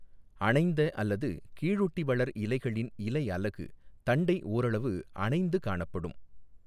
அணைந்த அல்லது கீழொட்டிவளர் இலைகளின் இலையலகு தண்டை ஓரளவு அணைந்து காணப்படும்.